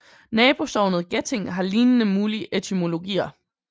Nabosognet Geting har lignende mulige etymologier